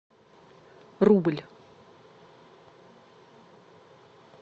рубль